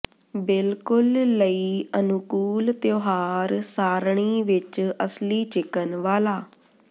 ਬਿਲਕੁਲ ਲਈ ਅਨੁਕੂਲ ਤਿਉਹਾਰ ਸਾਰਣੀ ਵਿੱਚ ਅਸਲੀ ਚਿਕਨ ਵਾਲਾ